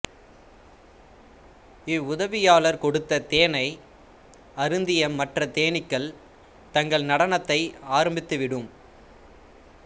இவ்வுதவியாளர் கொடுத்த தேனை அருந்திய மற்ற தேனீக்கள் தங்கள் நடனத்தை ஆரம்பித்து விடும்